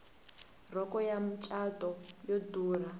rhoko ya macatu yo durha